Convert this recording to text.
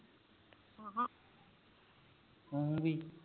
ਹਾਂ ਹੂ ਹੂ ਕਿ